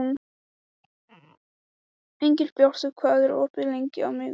Engilbjartur, hvað er opið lengi á miðvikudaginn?